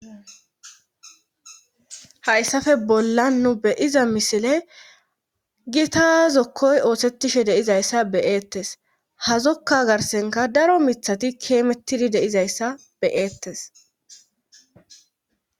hayssafe bollan nu beyiza misile gita zokkoy oosettishe deizayssa beyeettes hazokka garsenka daro mithati keemettidi de'izayssa beyeettes